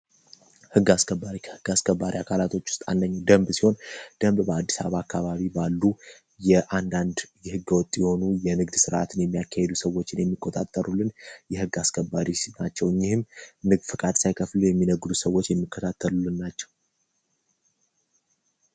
ሕግ አስከባሪ ከሕግ አስከባሪ አካላቶች ውስጥ አንደኛው ደንብ ሲሆን፤ ደንብ በአዲስ አበባ አካባቢ ባሉ የአንዳንድ የህገ ወጥ የሆኑ የንግድ ስርዓትን የሚያካሂዱ ሰዎችን የሚቆጣጠሩልን የሕግ አስከባሪ ናቸው። እኒህም ንግድ ፈቃድ ሳይከፍሉ የሚነግዱ ሰዎች የሚከተሉትን ናቸው።